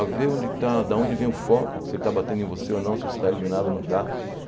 A ver onde está da onde vem o foco, se ele está batendo em você ou não, se você está iluminado ou não.